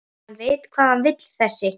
Hann veit hvað hann vill þessi!